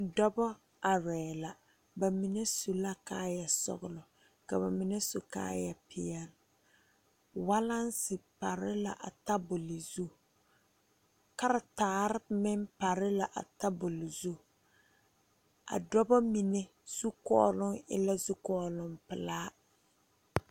Dɔɔba are la bamine su la kaaya sɔglɔ ka bamine su kaaya peɛle walansi pare la a tabol zu keretara meŋ pare la a tabol zu a dɔɔ mine zukɔloŋ e la zukɔloŋ pelaa.